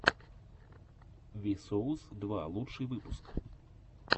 ви соус два лучший выпуск